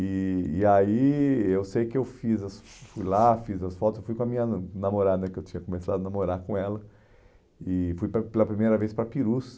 E e aí eu sei que eu fiz fui lá, fiz as fotos, fui com a minha namorada né, que eu tinha começado a namorar com ela, e fui pela pela primeira vez para Ipirus.